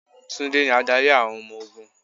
Tunde ni adarí àwọn ọmọ ogún.